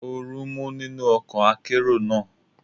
Oru ń mú nínú ọkọ̀ akérò náà.